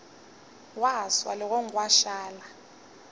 gwa swa legong gwa šala